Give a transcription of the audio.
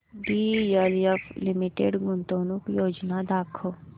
DLF limited गुंतवणूक योजना दाखव